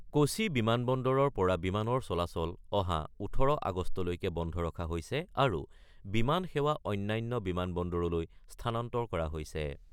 কোছি বিমানবন্দৰৰ পৰা বিমানৰ চলাচল অহা ১৮ আগষ্টলৈকে বন্ধ ৰখা হৈছে আৰু বিমান সেৱা অন্যান্য বিমান বন্দৰলৈ স্থানান্তৰ কৰা হৈছে।